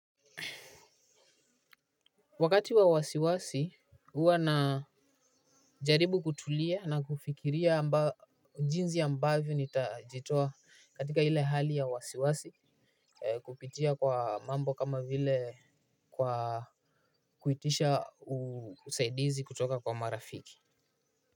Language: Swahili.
Wakati wa wasiwasi huwa na jaribu kutulia na kufikiria jinzi ambavyo nitajitoa katika ile hali ya wasiwasi. Kupitia kwa mambo kama vile kwa kuitisha usaidizi kutoka kwa marafiki.